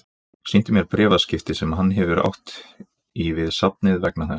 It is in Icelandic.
Sýndi mér bréfaskipti sem hann hefur átt í við safnið vegna þessa.